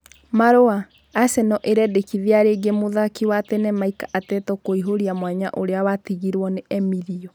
(Marua) Aseno ĩrendekithia rĩngĩ mũthaki wa tene Mick Ateto kũihũtia mwanya ũrĩa watigirwo nĩ Emilio.